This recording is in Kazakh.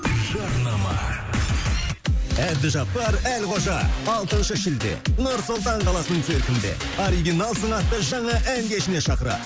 жарнама әбдіжаппар әлқожа алтыншы шілде нұр сұлтан қаласының циркінде оригиналсың атты жаңа ән кешіне шақырады